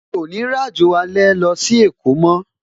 Mi ò ní ràjò alẹ́ lọ sí èkó mó